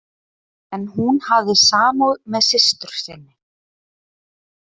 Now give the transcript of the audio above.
En hún hafði samúð með systur sinni.